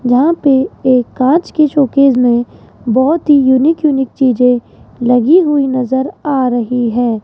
जहां पे एक कांच की शोकेस में बहोत ही यूनिक यूनिक चीजे लगी हुई नजर आ रही है।